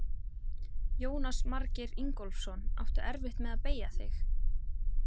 Jónas Margeir Ingólfsson: Áttu erfitt með að beygja þig?